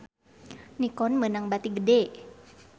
Nikon meunang bati gede